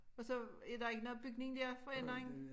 Og så der ikke noget bygning der for enden af